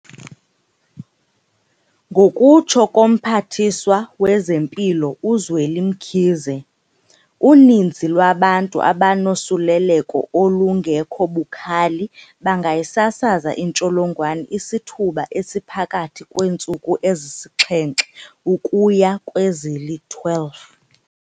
Ngokutsho koMphathiswa wezeMpilo uZweli Mkhize, uninzi lwabantu abanosuleleko olungekho bukhali bangayisasaza intsholongwane isithuba esiphakathi kweentsuku ezisixhenxe ukuya kwezili-12.